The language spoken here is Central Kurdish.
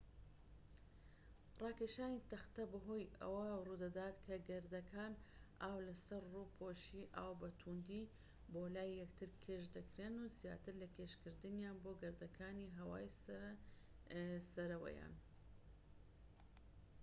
راکێشانی تەختەیی بەهۆی ئەوە روودەدات کە گەردەکان ئاو لە سەر ڕووپۆشی ئاو بە تووندی بۆ لای یەکتر کێش دەکرێن زیاتر لە کێشکردنیان بۆ گەردەکانی هەوای سەرەوەیان